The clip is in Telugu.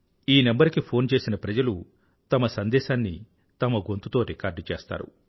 ఈ నంబరు కి ఫోన్ చేసిన ప్రజలు తమ సందేశాన్ని తమ గొంతుతో రికార్డ్ చేస్తారు